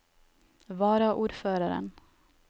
varaordføreren